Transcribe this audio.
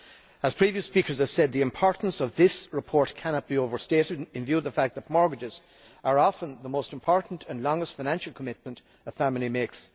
As previous speakers have said, the importance of the report cannot be overstated, in view of the fact that a mortgage is often the most important and longest financial commitment a family makes.